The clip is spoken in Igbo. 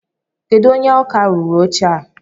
Kedụ onye ọkà rụrụ oche a?